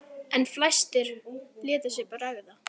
En fæstir létu sér bregða.